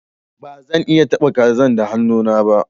Ba zan iya taba kazan da hannu na ba.